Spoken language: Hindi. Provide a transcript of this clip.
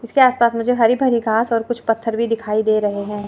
इसके आस पास मुझे हरि भरी घास और कुछ पत्थर भी दिखाई दे रहे हैं।